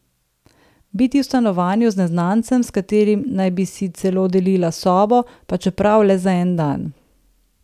Biti v stanovanju z neznancem, s katerim naj bi si celo delila sobo, pa čeprav le za en dan.